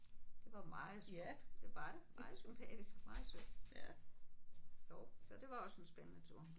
Det var meget smukt det var det meget sympatisk meget sødt. Jo så det var også en spændende tur